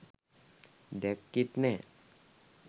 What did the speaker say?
දැක්කෙත් නෑ.